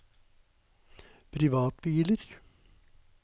privatbiler